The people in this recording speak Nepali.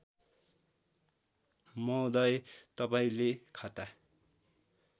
महोदय तपाईँले खाता